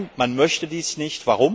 Nein, man möchte dies nicht!